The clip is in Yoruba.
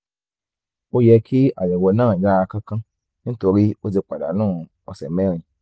ó yẹ kí àyẹ̀wò náà yára kánkán nítorí o ti pàdánù ọ̀sẹ̀ mẹ́rin